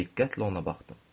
Diqqətlə ona baxdım.